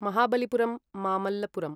Mahabalipuram Mamallapuram